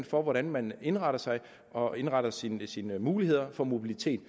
for hvordan man indretter sig og indretter sine sine muligheder for mobilitet